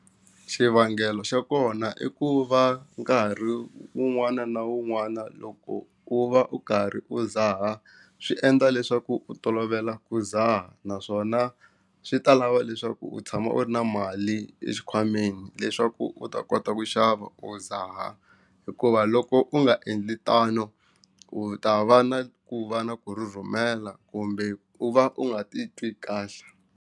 Xivangelo xa kona i ku va nkarhi wun'wana na wun'wana loko u va u karhi u dzaha swi endla leswaku u tolovela ku dzaha naswona swi ta lava leswaku u tshama u ri na mali exikhwameni leswaku u ta kota ku xava u dzaha hikuva loko u nga endli tano u ta va na ku va na ku rhurhumela kumbe u va u nga ti twi kahle.